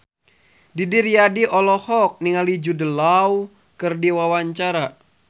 Didi Riyadi olohok ningali Jude Law keur diwawancara